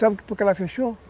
Sabe por que ela fechou?